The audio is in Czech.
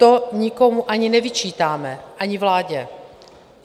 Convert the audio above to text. To nikomu ani nevyčítáme, ani vládě.